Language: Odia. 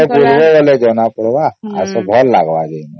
ଆସ ବୁଲିବା ବେଳେ ଜଣ ପଡିବ ଆସ ଭଲ ଲାଗିବ ଜିନ